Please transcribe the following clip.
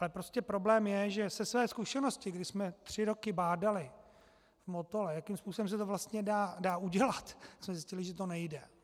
Ale prostě problém je, že ze své zkušenosti, kdy jsme tři roky bádali v Motole, jakým způsobem se to vlastně dá udělat, jsme zjistili, že to nejde.